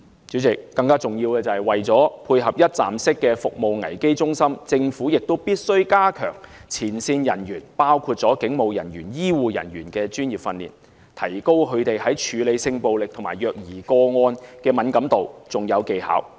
主席，更重要的是，為了配合一站式服務危機支援中心，政府必須加強前線人員，包括警務人員、醫護人員的專業訓練，提高他們處理性暴力和虐兒個案時的敏感度和技巧。